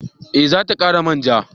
Eh za ta kara manja